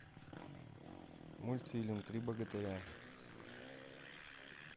мультфильм три богатыря